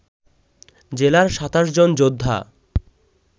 জেলার ২৭ জন যোদ্ধা